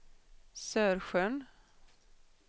Sörsjön